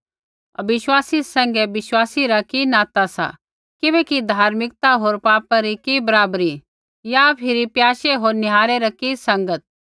अविश्वासी सैंघै विश्वासी रा कि नाता सा किबैकि धार्मिकता होर पापा री कि बराबरी या फिरी प्याशे होर निहारै री कि संगत